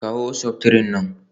Kawo septrin nan